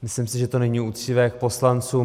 Myslím si, že to není uctivé k poslancům.